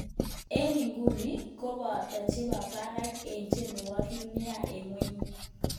Eng iguni ko pata che pakarek en tiendwokik nia een kwany